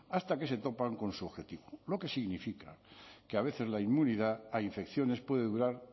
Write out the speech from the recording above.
hasta que se topan con su objetivo lo que significa que a veces la inmunidad a infecciones puede durar